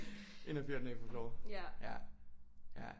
Ind og fyre den af på floor ja ja